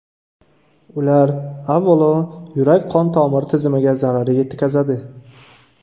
Ular, avvalo, yurak-qon tomir tizimiga zarar yetkazadi.